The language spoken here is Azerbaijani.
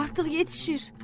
Artıq yetişir!